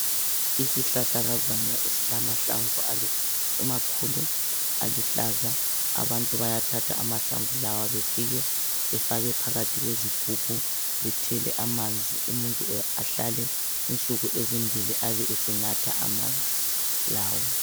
Isihlahlakazana esilamahlamvu amakhulu aluhlaza. Abantu bayathatha amahlamvu lawa befike befake phakathi kwezigubhu bethela amanzi. Umuntu ahlale insuku ezimbili abesenatha amanzi lawa.